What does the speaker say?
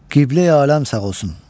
Qibləyi Aləm sağ olsun.